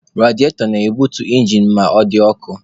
Rediatọ na-ebutu injin ma ọ dị ọkụ.